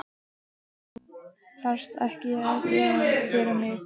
Þú þarft ekkert að gera fyrir mig.